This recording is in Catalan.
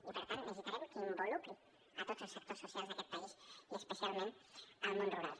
i per tant necessitarem que involucri tots els sectors socials d’aquest país i especialment el món rural